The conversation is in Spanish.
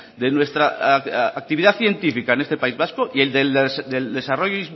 de nuestra actividad científica en este país vasco y el del desarrollo